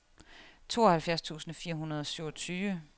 tooghalvfjerds tusind fire hundrede og syvogtyve